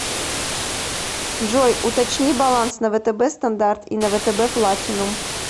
джой уточни баланс на втб стандарт и на втб платинум